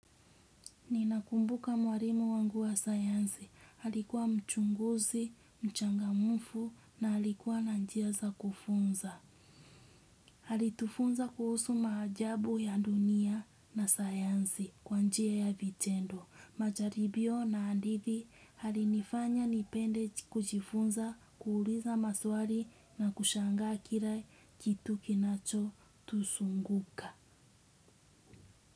Ninakumbuka mwalimu wangu wa sayansi. Alikuwa mchunguzi, mchangamufu na alikuwa nanjia za kufunza. Alitufunza kuhusu maajabu ya dunia na sayansi kwanjia ya vitendo. Majaribio na hadithi alinifanya nipende kujifunza, kuuliza maswari na kushangaa kila kitu kinacho tusunguka.